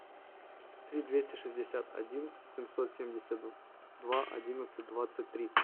три двести шестьдесят один семьсот семьдесят два одиннадцать двадцать три